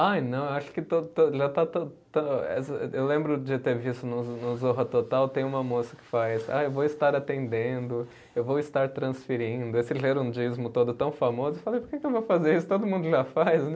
Ai, não, acho que to to, já está, eu lembro de ter visto no no Zorra Total, tem uma moça que faz, ah, eu vou estar atendendo, eu vou estar transferindo, esse gerundismo todo tão famoso, eu falei, por que que eu vou fazer isso, todo mundo já faz, né?